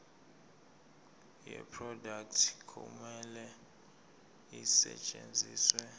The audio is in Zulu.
yeproduct kumele isetshenziswe